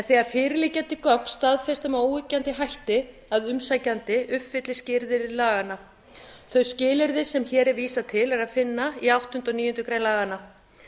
þegar fyrirliggjandi gögn staðfesta með óyggjandi hætti að umsækjandi uppfylli skilyrði laganna þau skilyrði sem hér er vísað til er að finna í áttunda og níundu grein laganna